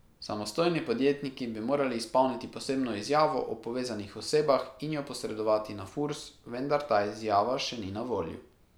Samostojni podjetniki bi morali izpolniti posebno izjavo o povezanih osebah in jo posredovati na Furs, vendar ta izjava še ni na voljo.